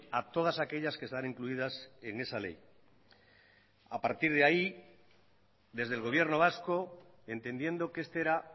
a todas aquellas que están incluidas en esa ley a partir de ahí desde el gobierno vasco entendiendo que este era